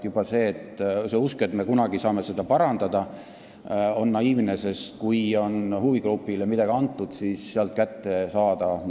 Juba see usk, et me kunagi saame seda parandada, on naiivne, sest kui huvigrupile on midagi antud, siis midagi sealt kätte saada ...